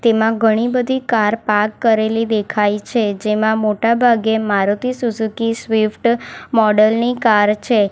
એમાં ઘણી બધી કાર પાર્ક કરેલી દેખાય છે જેમાં મોટાભાગે મારુતિ સુઝુકી સ્વીફ્ટ મોડલ ની કાર છે.